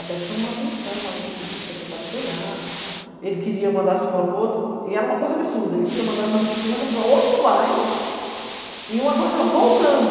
Até que chamou a atenção, aí o secretário foi lá, ele queria mandar a escola para outro, e era uma coisa absurda, ele queria mandar as nossas crianças para outro bairro, e uma coisa voltando.